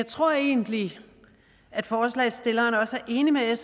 tror egentlig at forslagsstillerne også er enige med